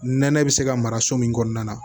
Nɛnɛ bi se ka mara so min kɔnɔna na